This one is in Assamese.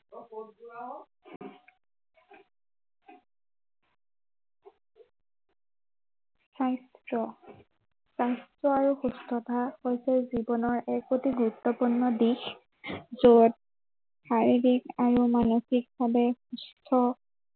স্বাস্থ্য়। স্বাস্থ্য় আৰু সুস্থতা প্ৰত্য়েক জীৱনৰ এক অতি গুৰুত্বপূৰ্ণ দিশ। যত, শাৰীৰিক আৰু মানসিক ভাৱে, সুস্থ